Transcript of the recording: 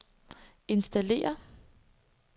installere